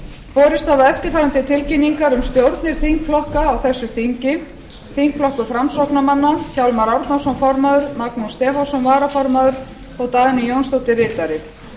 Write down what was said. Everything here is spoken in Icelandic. borist hafa eftirfarandi tilkynningar um stjórnir þingflokka á þessu þingi þingflokkur framsóknarmanna hjálmar árnason formaður magnús stefánsson varaformaður og dagný jónsdóttir ritari